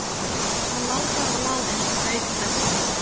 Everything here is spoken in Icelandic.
Hann lá bara og lá eins og blaut klessa.